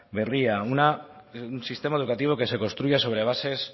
berriak un sistema educativo que se construya sobre bases